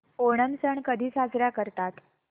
ओणम सण कधी साजरा करतात